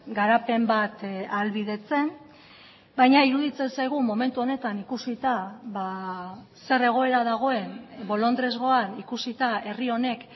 garapen bat ahalbidetzen baina iruditzen zaigu momentu honetan ikusita zer egoera dagoen bolondresgoan ikusita herri honek